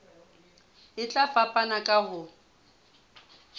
e tla fapana ka ho